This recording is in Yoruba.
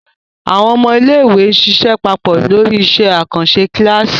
Àwọn ọmọ iléèwé ṣiṣẹ́ papọ̀ lórí iṣẹ́ àkànṣe kíláàsì